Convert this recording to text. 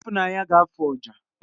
Ifunanya ga-afụ ọjà